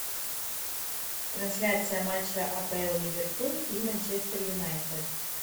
трансляция матча апл ливерпуль и манчестер юнайтед